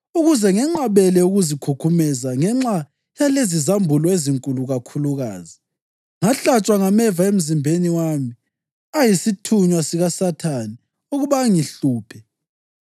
Ukuze ngenqabele ukuzikhukhumeza ngenxa yalezizambulo ezinkulu kakhulukazi, ngahlatshwa ngameva emzimbeni wami, ayisithunywa sikaSathane, ukuba angihluphe.